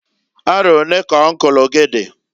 Arọ onee k'ọnkụlụ gi?